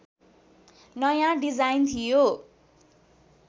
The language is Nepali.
नयाँ डिजाइन थियो